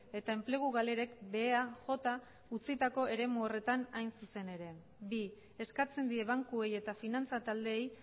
eta enplegu galerek behea jota utzitako eremu horretan hain zuzen ere bi eskatzen die bankuei eta finantza taldeei